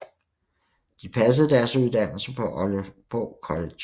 De passede deres uddannelse på Aalborg College